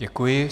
Děkuji.